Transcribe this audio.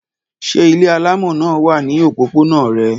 Ṣé ilé alámọ̀ náà wà ní òpópónà rẹ?